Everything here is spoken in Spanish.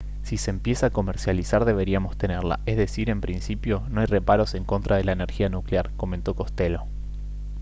«si se empieza a comercializar deberíamos tenerla. es decir en principio no hay reparos en contra de la energía nuclear» comentó costello